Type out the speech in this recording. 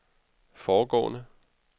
foregående